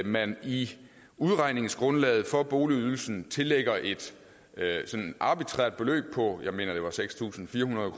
man i udregningsgrundlaget for boligydelsen tillagde et arbitrært beløb på seks tusind fire hundrede